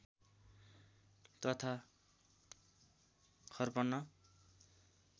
तथा खर्पन